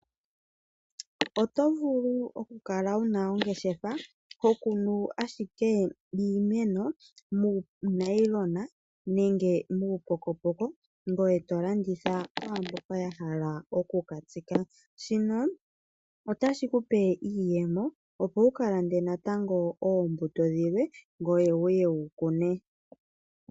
Otovulu okukala wuna ongeshefa hokunu ashike iimeno muunayilona nenge muupokopoko, Ngoye tolanditha kwaamboka yahala oku katsika ,shino otashikupe iiyemo opo wukalande natango oombuto dhimwe ngoye wuye wukune.